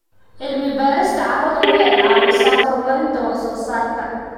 Cilmi-baarista carradu waxay caawisaa horumarinta wax-soo-saarka.